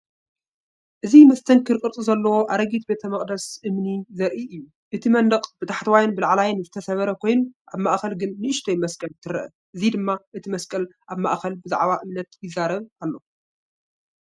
እዚ መስተንክር ቅርጺ ዘለዎ ኣረጊት ቤተ መቕደስ እምኒ ዘርኢ እዩ። እቲ መንደቕ ብታሕተዋይን ብላዕልን ዝተሰብረ ኮይኑ፡ ኣብ ማእከል ግን ንእሽቶ መስቀል ትረአ።"እዚ ድማ እቲ ፤መስቀል ኣብ ማእከል ብዛዕባ እምነት ይዛረብ ኣሎ።